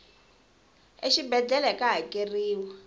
exibedlhele ka hakeriwa